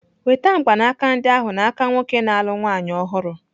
Nweta mgbanaka ndị ahụ n'aka nwoke na-alụ nwaanyị ọhụrụ!